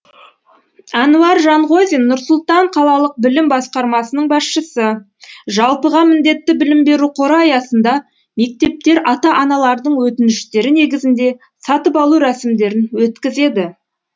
әнуар жанғозин нұр сұлтан қалалық білім басқармасының басшысы жалпыға міндетті білім беру қоры аясында мектептер ата аналардың өтініштері негізінде сатып алу рәсімдерін өткізеді